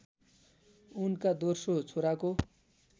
उनका दोस्रो छोराको